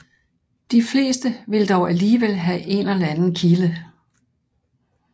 De fleste vil dog alligevel have en eller anden kilde